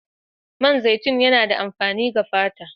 Man zaitun yana da amfani ga fata.